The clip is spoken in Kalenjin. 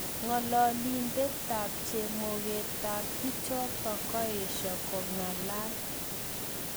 Ngololindetab chemogetab bichotok koesho kongalalal